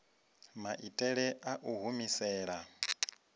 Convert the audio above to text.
maitele a u i humisela